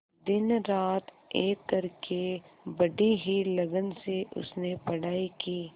दिनरात एक करके बड़ी ही लगन से उसने पढ़ाई की